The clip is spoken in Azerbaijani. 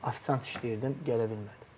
Ofisiant işləyirdim, gələ bilmədim.